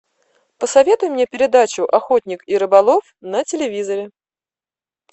посоветуй мне передачу охотник и рыболов на телевизоре